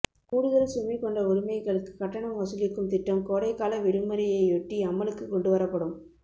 கூடுதல் சுமை கொண்ட உடைமைகளுக்கு கட்டணம் வசூலிக்கும் திட்டம் கோடை கால விடுமுறையை யொட்டி அமலுக்கு கொண்டுவரப்படும்